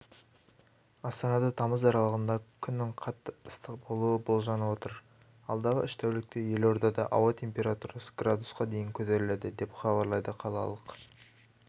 астанада тамыз аралығында күннің қатты ыстық болуы болжанып отыр алдағы үш тәулікте елордада ауа температурасы градусқа дейін көтеріледі деп хабарлайды қалалық